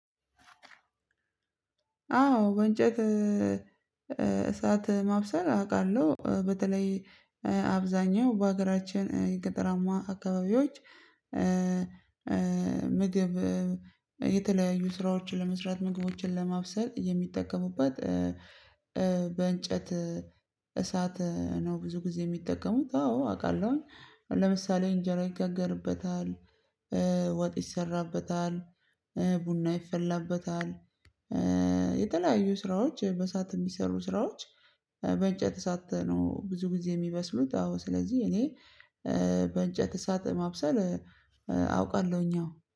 አዎ በእንጨት እሳት ማብሰል አውቃለሁ። በተለይ አብዛኛው በሀገራችን የገጠራማ አካባቢዎች ምግብ የተለያዩ ስራዎችን ለመስራት ምግቦችን ለማብሰል የሚጠቀሙበት በእንጨት እሳት ነው። ብዙ ጊዜ የሚጠቀሙት አዎ አውቃለሁኝ ለምሳሌ እንጀራ ይጋገርበታል። ወጥ ይሰራበታል። ቡና ይፈላበታል። የተለያዩ ስራዎች በሰአት የሚሰሩ ስራዎች በእንጨት እሳት ነው። ብዙ ጊዜ የሚመስሉት አዎ ስለዚህ እኔ በእንጨት እሳት ማብሰል አውቃለሁኝ አዎ